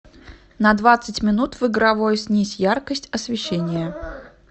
на двадцать минут в игровой снизь яркость освещения